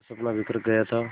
का सपना बिखर गया था